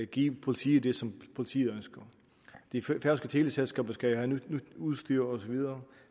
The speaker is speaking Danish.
give politiet det som politiet ønsker de færøske teleselskaber skal jo have nyt udstyr osv